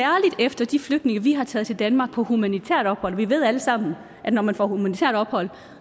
efter de flygtninge vi har taget til danmark på humanitært ophold vi ved alle sammen at når man får humanitært ophold